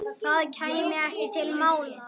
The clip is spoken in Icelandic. Það kæmi ekki til mála.